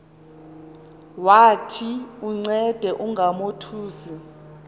wathi uncede ungamothusi